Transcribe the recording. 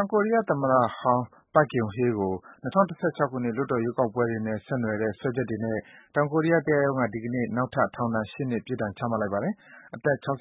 င်ကိုရီးယားသမ္မတဟောင်း Park Geun-hye ကို ၂၀၁၆ ခုနှစ် လွှတ်တော် ရွေးကောက်ပွဲတွေနဲ့ ဆက် နွယ်တဲ့ စွဲချက်တွေနဲ့ တောင်ကိုရီးယား တရားရုံးက ဒီကနေ့ နောက်ထပ် ထောင်ဒဏ် ၈ နှစ် ပြစ်ဒဏ် ချမှတ် လိုက်ပါတယ်။ အသက် ၆၆